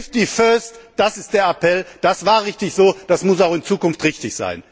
Safety first das ist der Appell. Das war richtig so, das muss auch in Zukunft richtig sein!